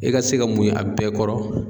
E ka se ka muɲu a bɛɛ kɔrɔ